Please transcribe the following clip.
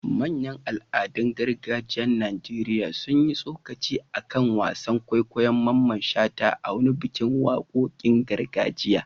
Manyan al'adun gargajiyar Najeriya sun yi tsokaci a kan wasan kwaikwayon Mamman Shata a wani bikin wakokin gargajiya.